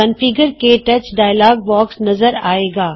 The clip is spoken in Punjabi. ਕੌਨਫਿਗਰ ਕੇ ਟੱਚ ਡਾਇਲੋਗ ਬੌਕਸ ਨਜ਼ਰ ਆਏਗਾ